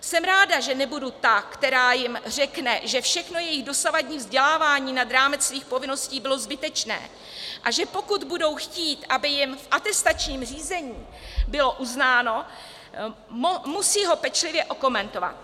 Jsem ráda, že nebudu ta, která jim řekne, že všechno jejich dosavadní vzdělávání nad rámec svých povinností bylo zbytečné, a že pokud budou chtít, aby jim v atestačním řízení bylo uznáno, musí ho pečlivě okomentovat.